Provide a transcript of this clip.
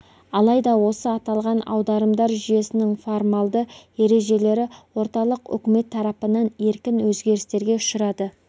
алайда осы аталған аударымдар жүйесінің формалды ережелері орталық үкімет тарапынан еркін өзгерістерге ұшырады